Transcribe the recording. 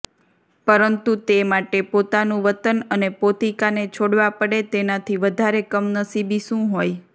પરંતુ તે માટે પોતાનુ વતન અને પોતિકાને છોડવા પડે તેનાથી વધારે કમનસીબી શું હોય